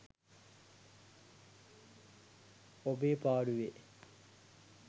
ඔබේ පාඩුවේ